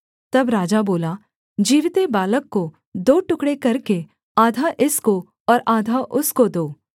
तब राजा बोला जीविते बालक को दो टुकड़े करके आधा इसको और आधा उसको दो